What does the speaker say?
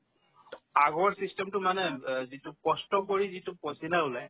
আগৰ system তো মানে অ যিটো কষ্ট কৰি যিটো pasina ওলায়